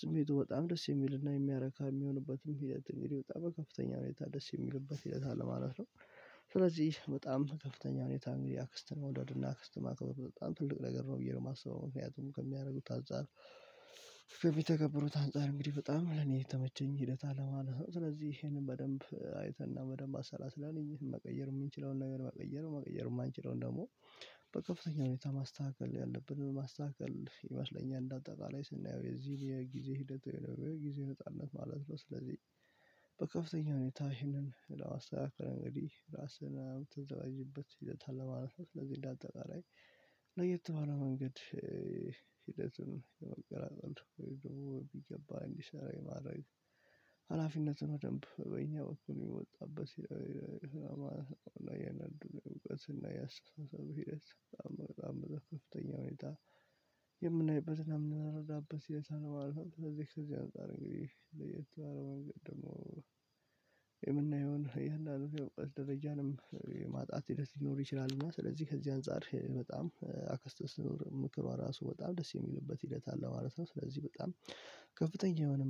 ስሜቱ በጣም ደስ የሚልና የሚያረካ የሚሆንበትም ሂደት እንግዲህ በጣም በከፍተኛ ሁኔታ ደስ የሚልበት ሂደት አለ ማለት ነው። ስለዚህ በጣም በከፍተኛ ሁኔታ እንግዲህ አክስትን መውደድና አክስት ማክበር በጣም ትልቅ ነገር ነው ብዬ ነው የማስበው ምክንያቱም ከሚያደርጉት አንፃር ከሚተገብሩት አንፃር እንግዲህ በጣም ለኔ የተመቸኝ ሂደት አለ ማለት ነው። ስለዚህ ይሄንን በደንብ አይተንና በደንብ አሰላስላን ዪሀን መቀየር የምንችለውን ነገር ማቀየር ማቀየር የማንችለውን ደግሞ በከፍተኛ ሁኔታ ማስተካከል ያለብንን ማስተካከል ይመስለኛል እንደ አጠቃላይ ስናየው የዚህን የጊዜ ሂደት በጊዜነት አለ ማለት ነው። ስለዚህ በከፍተኛ ሁኔታ ይህንን እንደው አስተካከለን እንግዲህ ራስህን የምናዘጋጅበት ሂደት አለ ማለት ነው። ስለዚህ እንዳጠቃላይ ለየት ባለ መንገድ ሂደትን የመገራጸም ወይ ደግሞ በሚገባ እንዲሰራ የማድረግ ሀላፊነትን በደንብ በእኛ በኩል የሚወጣበት የነበሩት እና የአስተሳሰቡ ሂደት በጣም በጣም በከፍተኛ ሁኔ የምናይበትን እና የምናረዳበት ሲል ሳነው አልፏል ለዚህ እዚህ አንፃር ለየት ባለ ደግሞ የምናየውን እያንዳንድን የእውቀት ደረጃንም የማጣት ሂደት ሊኖር ይችላል። እና ስለዚህ ከዚህ አንፃር በጣም አክስት ስትኖር ምክሯ ራሱ በጣም ደስ የሚልበት ሂደት አለ ማለት ነው። ስለዚህ በጣም ከፍተኛ የሆነ